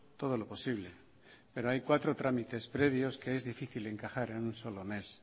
todo lo posible pero hay cuatro trámites previos que es difícil encajar en un solo mes